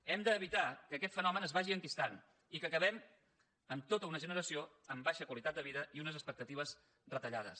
hem d’evitar que aquest fenomen es vagi enquistant i que acabem amb tota una generació amb baixa qualitat de vida i unes expectatives retallades